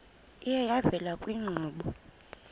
iye yavela kwiinkqubo